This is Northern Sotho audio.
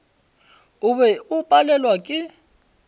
o be o palelwa ke